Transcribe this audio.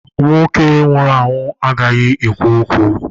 Nwoke nwụrụ anwụ agaghị ekwu okwu.